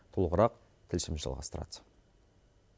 толығырақ тілшіміз жалғастырады